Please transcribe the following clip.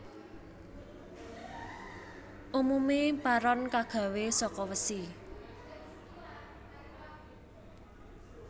Umume paron kagawe saka wesi